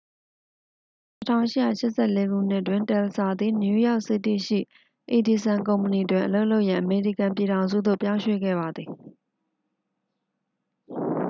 1884 ခုနှစ်တွင် တယ်လ်စာ သည် နယူးယောက်စီးတီးရှိ အီဒီဆန် ကုမ္ပဏီတွင် အလုပ်လုပ်ရန် အမေရိကန်ပြည်ထောင်စုသို့ ပြောင်းရွှေ့ခဲ့ပါသည်